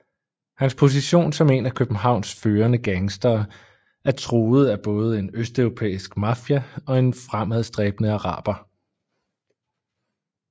Hans position som en af Københavns førende gangstere er truet af både en østeuropæisk mafia og en fremadstræbende araber